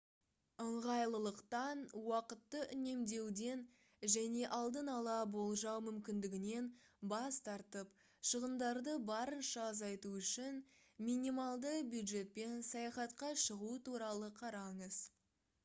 ыңғайлылықтан уақытты үнемдеуден және алдын ала болжау мүмкіндігінен бас тартып шығындарды барынша азайту үшін минималды бюджетпен саяхатқа шығу туралы қараңыз